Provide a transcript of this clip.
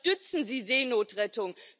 Unterstützen Sie Seenotrettung!